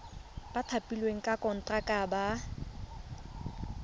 ba thapilweng ka konteraka ba